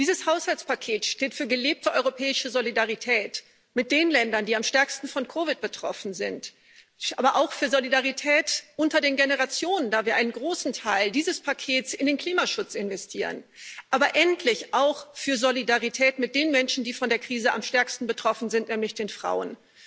Dieses Haushaltspaket steht für gelebte europäische Solidarität mit den Ländern, die am stärksten von COVID betroffen sind, aber auch für Solidarität unter den Generationen, da wir einen großen Teil dieses Pakets in den Klimaschutz investieren, aber endlich auch für Solidarität mit den Menschen, die von der Krise am stärksten betroffen sind, nämlich den Frauen.